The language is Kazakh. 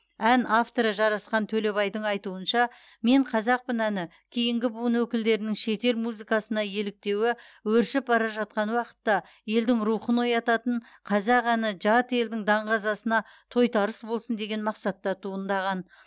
ән авторы жарасқан төлебайдың айтуынша мен қазақпын әні кейінгі буын өкілдерінің шетел музыкасына еліктеуі өршіп бара жатқан уақытта елдің рухын оятатын қазақ әні жат елдің даңғазасына тойтарыс болсын деген мақсатта туындаған